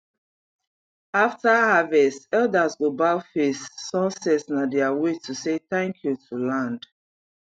after harvest elders go bow face sunset na their way to say thank you to land